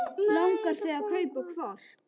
Langar þig að kaupa hvolp?